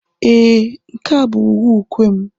Ee, nke a bụ uwe ukwe m.